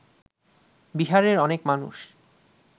বিহারের অনেক মানুষ